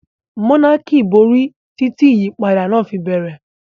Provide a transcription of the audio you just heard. Monarchy borí títí ìyípadà náà fi bẹ̀rẹ̀.